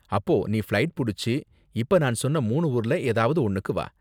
அப்போ நீ ஃப்ளைட் புடிச்சு இப்ப நான் சொன்ன மூணு ஊர்ல ஏதாவது ஒன்னுக்கு வா.